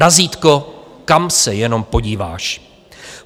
Razítko, kam se jenom podíváš!